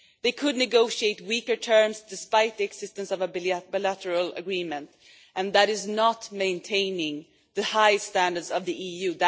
They could negotiate weaker terms despite the existence of a bilateral agreement, and that is not maintaining the high standards of the EU.